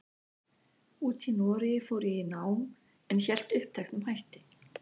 úti í Noregi fór ég í nám, en hélt uppteknum hætti.